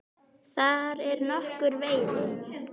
Þar er nokkur veiði.